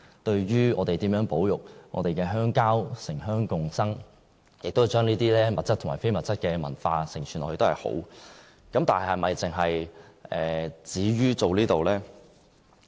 對於我們如何保育我們的鄉郊，城鄉共生，並且將這些物質和非物質的文化承傳下去，是一件好事。